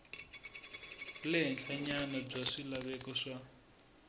le henhlanyana bya swilaveko swa